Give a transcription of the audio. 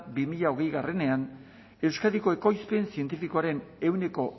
bi mila hogeiean euskadiko ekoizpen zientifikoaren ehuneko